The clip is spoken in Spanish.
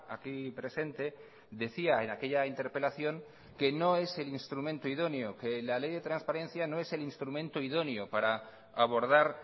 aquí presente decía en aquella interpelación que no es el instrumento idóneo que la ley de transparencia no es el instrumento idóneo para abordar